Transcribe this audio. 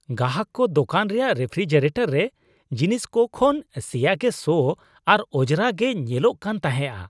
ᱜᱟᱦᱟᱠ ᱠᱚ ᱫᱚᱠᱟᱱ ᱨᱮᱭᱟᱜ ᱨᱮᱯᱷᱨᱤᱡᱟᱨᱮᱴᱚᱨ ᱨᱮ ᱡᱤᱱᱤᱥᱠᱚ ᱠᱚ ᱠᱷᱚᱱ ᱥᱮᱭᱟ ᱜᱮ ᱥᱚ ᱟᱨ ᱚᱡᱽᱨᱟ ᱜᱮ ᱧᱮᱞᱚᱜ ᱠᱟᱱ ᱛᱟᱦᱮᱸᱼᱟ ᱾